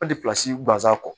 An tilasi gansan kɔ